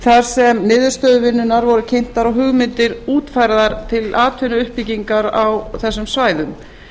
þar sem niðurstöður vinnunnar voru kynntar og hugmyndir útfærðar til atvinnuuppbyggingar á þessum svæðum